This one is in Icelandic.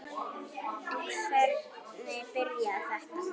En hvernig byrjaði þetta?